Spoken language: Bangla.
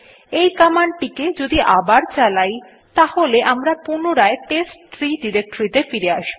এই কমান্ড টিকে যদি আবার চালাই তাহলে আমরা পুনরায় টেস্টট্রি ডিরেক্টরীতে ফিরে আসব